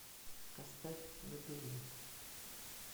поставь лабиринт